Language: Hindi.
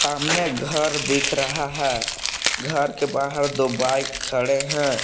सामने घर दिख रहा है। घर के बाहर दो बाइक खड़े हैं।